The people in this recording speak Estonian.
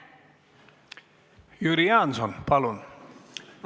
Jüri Jaanson, palun!